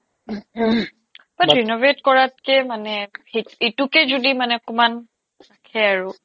but renovate কৰাতকে মানে এইটোকে যদি মানে অকমাণ ৰাখে আৰু